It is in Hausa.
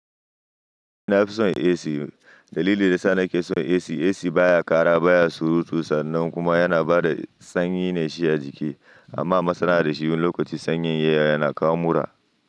Na fi son AC. Dalilin da yasa naki son AC, AC baya ƙara baya surutu sannan kuma yana ba da sanyi ne shi ya jike amma masana'ar da shi lokacin sanyin yayi yana kawo mura.